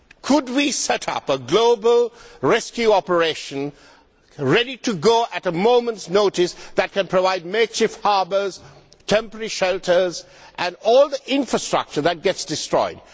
Could we set up a global rescue operation, ready to go at a moment's notice, that can provide makeshift harbours, temporary shelters and all the infrastructure that gets destroyed?